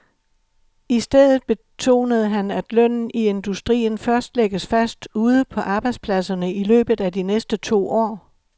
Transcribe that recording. I stedet betonede han, at lønnen i industrien først lægges fast ude på arbejdspladserne i løbet af de næste to år.